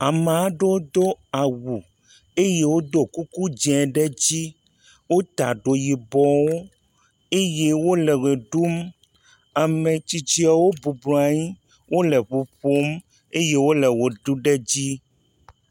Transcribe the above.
Ame aɖewo do awu eye wodo kuku dzi ɖe edzi. Wota ɖo yibɔ eye wole ʋe ɖum. Ame tsitsiawo bublɔa nyi wole ŋu ƒom eye woe ʋe ɖum ɖe edzi.